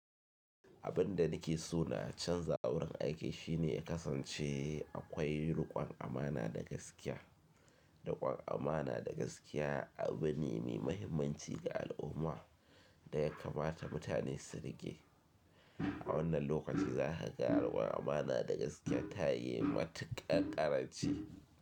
Abin da nake so na canza a wurin aiki shine ya kasance akwai riƙon amana da gaskiya. Riƙon amana da gaskiya abu ne mai mahimmanci ga al'umma da ya kamata mutane su riƙe. A wannan lokaci za ka ga riƙon amana da gaskiya ta yi matuƙar ƙaranci.